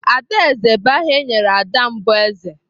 Adaeze bụ aha e nyere ada mbụ eze.